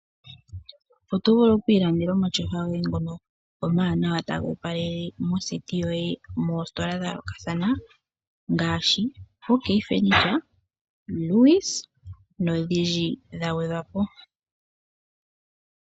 Oto vulu oku ilandela omatyofa goye ngono omawanawa taga opalele moseti yoye moositola dha yoolokathana ngaashi Ok Furniture, Lewis nodhindji dha gwedhwa po.